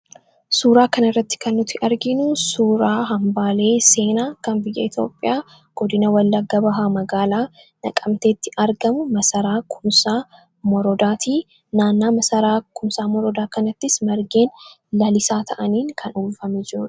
suuraa kana irratti kannuti arginu suuraa hambaalee seenaa kan biyya etioophiyaa godina wallagga bahaa magaalaa naqamteetti argamu masaraa kumsaa moroodaatii naannaa masaraa kumsaa moroodaa kanattis margeen lalisaa ta'aniin kan uuffame jiru